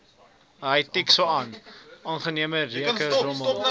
onaangename reuke rommel